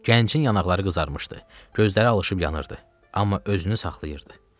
Gəncin yanaqları qızarmışdı, gözləri alışıb yanırdı, amma özünü saxlayırdı.